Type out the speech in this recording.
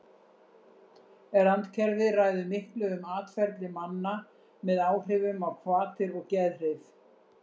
randkerfið ræður miklu um atferli manna með áhrifum á hvatir og geðhrif